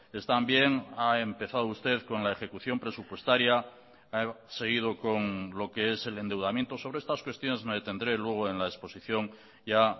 están bien ha empezado usted con la ejecución presupuestaria ha seguido con lo que es el endeudamiento sobre estas cuestiones me detendré luego en la exposición ya